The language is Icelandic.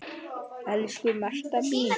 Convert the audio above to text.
Elsku Marta mín.